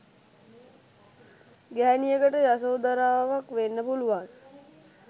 ගැහැණියකට යසෝදරාවක් වෙන්න පුළුවන්